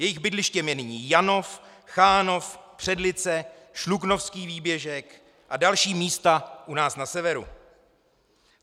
Jejich bydlištěm je nyní Janov, Chánov, Předlice, Šluknovský výběžek a další místa u nás na severu.